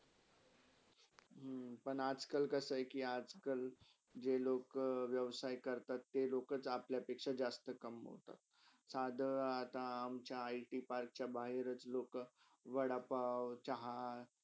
हम्म पण आज - कल कसा आहे कि आज - कल, जे लोका व्यवसही करतात ते लोका अपल्यापेक्षा जास्त कमोतात साधर अमच्या IT पार्कच्या बहारच लोका वडापाव, चहा.